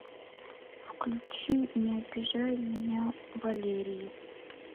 включи не обижай меня валерии